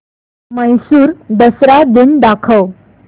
म्हैसूर दसरा दिन दाखव